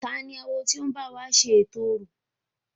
Tani awo ti o ń báwo ṣe ètò orò?